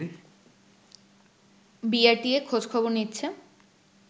BRTA খোঁজ খবর নিচ্ছে